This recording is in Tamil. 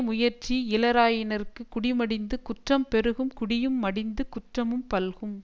முயற்சி இலராயினார்க்கு குடி மடிந்து குற்றம் பெருகும் குடியும் மடித்து குற்றமும் பல்கும்